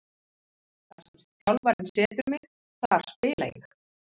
Þar sem þjálfarinn setur mig þar spila ég.